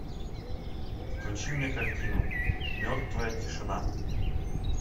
включи мне картину мертвая тишина